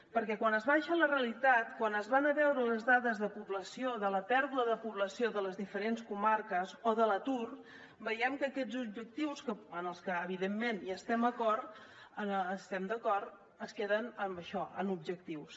perquè quan es baixa a la realitat quan es van a veure les dades de població de la pèrdua de població de les diferents comarques o de l’atur veiem que aquests objectius amb els que evidentment hi estem d’acord es queden en això en objectius